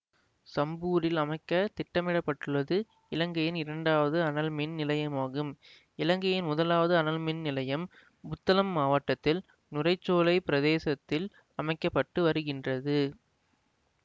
சம்பூரில் அமைக்க திட்டமிட பட்டுள்ளது இலங்கையின் இரண்டாவது அனல்மின் நிலையமாகும் இலங்கையின் முதலாவது அனல் மின் நிலையம் புத்தளம் மாவட்டத்தில் நுரைச்சோலைப் பிரதேசத்தில் அமைக்க பட்டு வருகின்றது